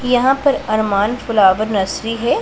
यहां पर Arman flower nursery है।